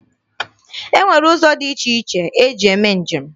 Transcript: E nwere ụzọ dị iche iche eji eme njem.